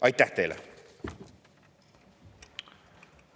Aitäh teile!